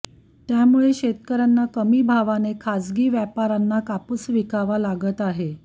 त्यामुळे शेतकर्यांना कमी भावाने खाजगी व्यापार्यांना कापूस विकावा लागत आहे